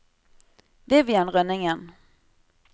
Vivian Rønningen